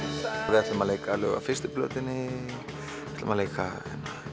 við ætlum að leika lög af fyrstu plötunni ætlum að leika